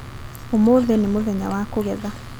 ũmũthĩ nĩ mũthenya wa kũgetha.